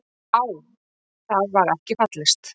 Á það var ekki fallist.